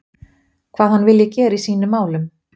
Hvað hann vilji gera í sínum málum?